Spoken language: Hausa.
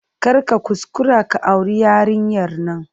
Kar ka kuskura ka auri yarinyar nan!